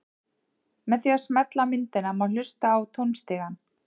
Með því að smella á myndina má hlusta á tónstigann.